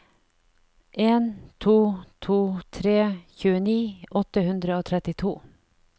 en to to tre tjueni åtte hundre og trettito